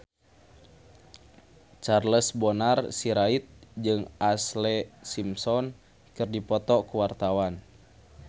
Charles Bonar Sirait jeung Ashlee Simpson keur dipoto ku wartawan